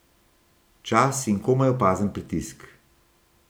Čas in komaj opazen pritisk.